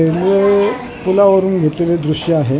हे पुलावरून घेतलेले दृश्य आहे .